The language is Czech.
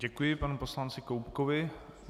Děkuji panu poslanci Koubkovi.